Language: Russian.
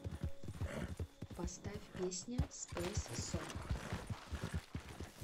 поставь песня спэйс сонг